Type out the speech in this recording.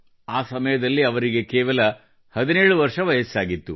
ಆ ಸಮಯದಲ್ಲಿ ಅವರಿಗೆ ಕೇವಲ 17 ವರ್ಷ ವಯಸ್ಸಾಗಿತ್ತು